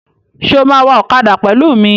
Ṣé o máa wa ọ̀kadà pẹ̀lú mi?